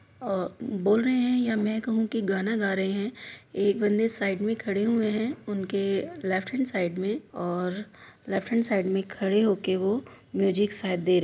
बोल रहे हैं या मैं कहू के गाना गा रहे हैं एक बन्दे साइड मे खड़े हुए हैं उनके लेफ़्ट हेन्ड साइड में और लेफ़्ट हेन्ड साइट में खडे होके वो म्यूजिक शायद दे रहे --